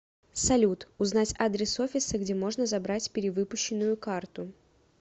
салют узнать адрес офиса где можно забрать перевыпущенную карту